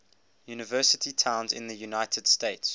university towns in the united states